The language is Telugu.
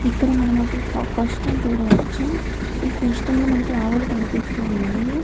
ఇక్కడ మనం ఒక కుష్టుని చూడవచ్చును ఈ కస్టులో మనకి ఆవులు కనిపిస్తున్నాయి